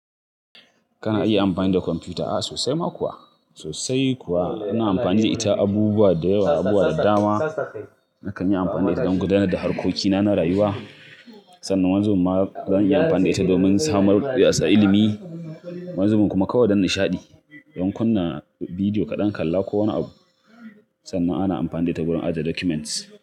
Kana iya amfani da kwamfuta? A'a sosai ma kuwa, sosai kuwa. Ana amfani da ita abubuwa da yawa, abubuwa da dama. Nakan yi amfani da ita don gudanar da harkokina na rayuwa, sannan wanizubin ma zan iya amfani da ita domin samarwa da yatsa ilimi, yanzu kuma kawai don nishaɗi. Don kunna bidiyo kaɗan-kalla ko wani abu. Sannan ana amfani da ita wurin ajiye documents.